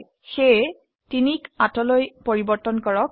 সেয়ে 3 ক 8 লৈ পৰিবৰ্তন কৰক